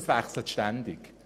Das Wissen wechselt ständig.